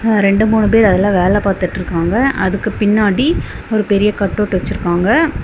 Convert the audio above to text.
அ ரெண்டு மூணு பேர் அதுல வேல பாத்துட்டுருக்காங்க. அதுக்கு பின்னாடி ஒரு பெரிய கட்டவுட் வச்சிருக்காங்க.